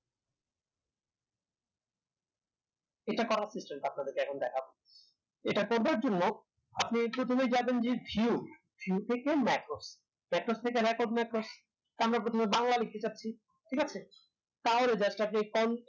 এটা করার option টা আপনাদেরকে এখন দেখাবো এটা করবার জন্য আপনি প্রথমেই যাবেন যে view view থেকে macros macros থেকে back of macros আমরা প্রথমে বাংলা লিখতে যাচ্ছি ঠিক আছে তাহলে just আপনি